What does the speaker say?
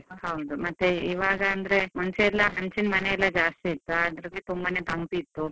ಹೌದು, ಮತ್ತೆ ಇವಾಗ ಅಂದ್ರೆ ಮುಂಚೆಯೆಲ್ಲಾ ಹಂಚಿನ ಮನೆಯೆಲ್ಲ ಜಾಸ್ತಿ ಇತ್ತು, ಅದ್ರಲ್ಲಿ ತುಂಬಾನೇ ತಂಪಿತ್ತು.